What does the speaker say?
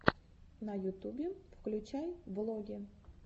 на ютубе включай влоги